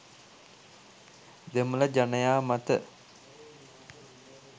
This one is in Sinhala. දෙමළ ජනයා මත